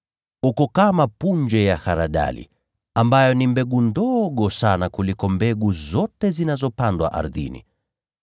Ni kama punje ya haradali, ambayo ni mbegu ndogo sana kuliko mbegu zote zinazopandwa ardhini.